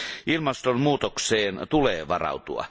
Ilmastonmuutokseen tulee varautua.